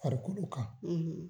Farikolo kan,